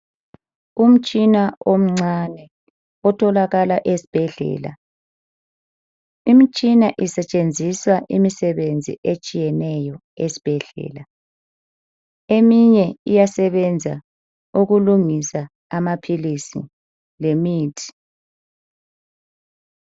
Umtshina omncane otholakala esibhedlela. Imitshina isetshenziswa imisebenzi etshiyeneyo, esibhedlela. Eminye iyasebenza ukulungisa amaphilisi, lemithi.